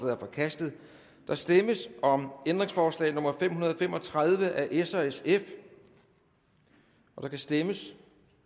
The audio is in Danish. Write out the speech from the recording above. er forkastet der stemmes om ændringsforslag nummer fem hundrede og fem og tredive af s og sf der kan stemmes